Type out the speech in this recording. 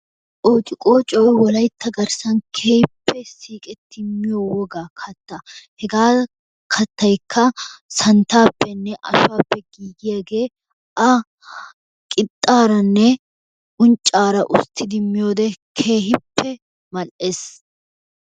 Qoocciqqooccoy wolaytta garssan keehippe siiqiti miyo wogaa kattaa. Hegaa kattaykka santtappenne ashuwppe giigiyaagee a qixxaaranne unccaara usttidi miyode keehippe mal'ees